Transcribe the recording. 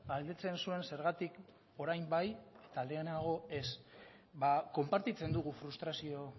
galdetzen zuen zergatik orain bai eta lehenago ez ba konpartitzen dugu frustrazio